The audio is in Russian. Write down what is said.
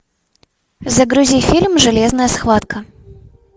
загрузи фильм железная схватка